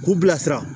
K'u bilasira